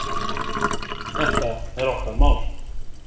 Þetta er okkar mál.